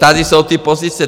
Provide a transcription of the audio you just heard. Tady jsou ty pozice.